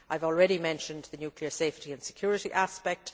I have already mentioned the nuclear safety and security aspect.